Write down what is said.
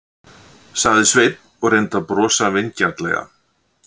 sagði Sveinn og reyndi að brosa vingjarnlega.